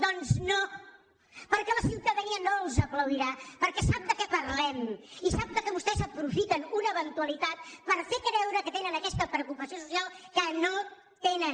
doncs no perquè la ciutadania no els aplaudirà perquè sap de què parlem i sap que vostès aprofiten una eventualitat per fer creure que tenen aquesta preocupació social que no tenen